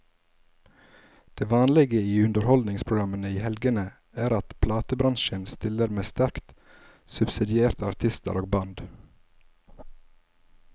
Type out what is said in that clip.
Det vanlige i underholdningsprogrammene i helgene er at platebransjen stiller med sterkt subsidierte artister og band.